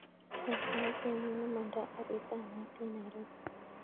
Wany sait ainon nemondo garit ab maat en nairobi